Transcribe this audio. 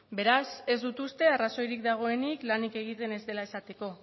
beraz ez dut uste arrazoirik dagoenik lanik egiten ez dela esateko